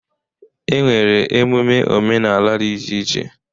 E nwere emume omenala dị iche iche.